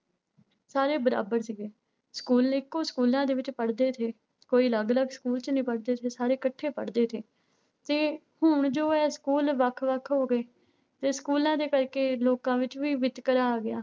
ਸਾਰੇ ਬਰਾਬਰ ਸੀਗੇ, ਸਕੂਲ ਇੱਕੋ ਸਕੂਲਾਂ ਦੇ ਵਿੱਚ ਪੜ੍ਹਦੇ ਸੀ, ਕੋਈ ਅਲੱਗ ਅਲੱਗ ਸਕੂਲ ਚ ਨੀ ਪੜ੍ਹਦੇ ਸੀ, ਸਾਰੇੇ ਇਕੱਠੇ ਪੜ੍ਹਦੇ ਸੀ, ਤੇ ਹੁਣ ਜੋ ਹੈ ਸਕੂਲ ਵੱਖ ਵੱਖ ਹੋ ਗਏ ਤੇ ਸਕੂਲਾਂ ਦੇ ਕਰਕੇ ਲੋਕਾਂ ਵਿੱਚ ਵੀ ਵਿਤਕਰਾ ਆ ਗਿਆ।